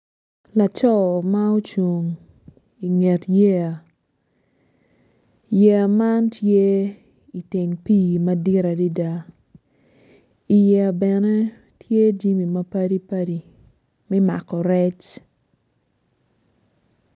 Laco ma ocung inget yeya yeya man tye iteng pii madit adida i yeya bene tye jami mapadi padi mi mako rec